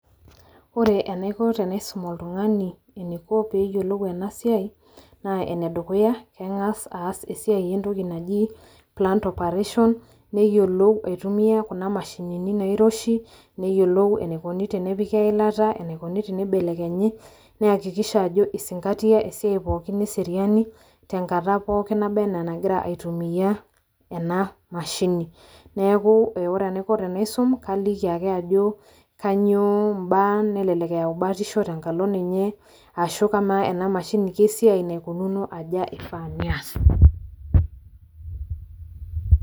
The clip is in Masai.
ore enaiko tenaisum oltungani eniko pee eyiolou ena siai. kengas aas esiai entoki naji, plant operation neyiolou aitumia, kuna mashinini nairoshi, neyiolou enikoni tenepiki eilata, enikoni tenibelekenyi, neyakiskiha ajo isinkatia esiai pookin eseriani tenkata pookin nagira aitumia ena mashini. neeku ore enaiko tenaisum kaliki ake ajo kainyiio mbaa, nelelek eyau batisho tenkalo ninye, ashu kamaa ena mshini, kesiai naikununo aja naifaa neasi.